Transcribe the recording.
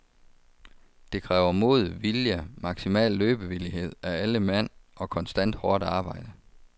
Det kræver mod, vilje, maksimal løbevillighed af alle mand og konstant hårdt arbejde.